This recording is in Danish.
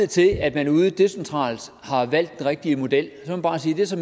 til at man ude decentralt har valgt den rigtige model må jeg bare sige at det så